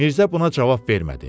Mirzə buna cavab vermədi.